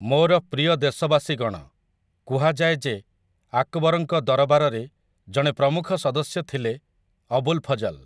ମୋର ପ୍ରିୟ ଦେଶବାସୀଗଣ, କୁହାଯାଏ ଯେ ଆକବରଙ୍କ ଦରବାରରେ ଜଣେ ପ୍ରମୁଖ ସଦସ୍ୟ ଥିଲେ ଅବୁଲ ଫଜଲ ।